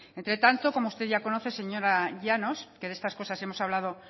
entre tanto como usted ya conoce señora llanos que de estas cosas hemos hablado